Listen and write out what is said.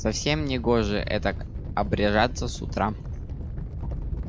совсем негоже этак обряжаться с утра